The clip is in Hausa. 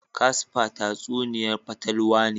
Casper tatsuniya'n fatalwa ne.